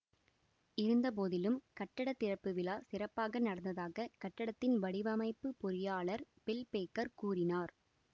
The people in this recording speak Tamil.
இருந்த போதிலும் கட்டட திறப்பு விழா சிறப்பாக நடந்ததாக கட்டடத்தின் வடிவமைப்பு பொறியாளர் பில் பேக்கர் கூறினார்